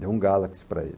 Deu um Galaxy para ele.